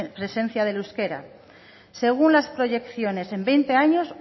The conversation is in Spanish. presencia del euskera según las proyecciones en veinte años